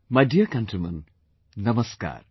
My dear countrymen, Namaskar